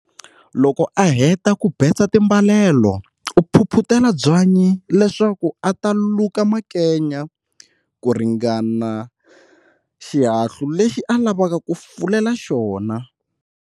Loko a heta ku betsa timbalelo u phuphutela byanyi leswaku a ta luka makenya, ku ringana xihahlu lexi a lavaka ku fulela xona.